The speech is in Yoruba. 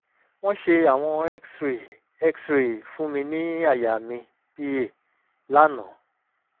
wọ́n ṣe àwọ̀n cs] x-ray x-ray fún mi ní àyà mi (pa) lánàá